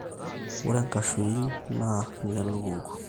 ore nkashuin naa nelukungu